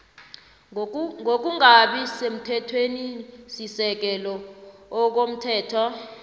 ngokungabi semthethwenisisekelo komthetho